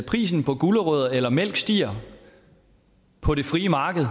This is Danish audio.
prisen på gulerødder eller mælk stiger på det frie marked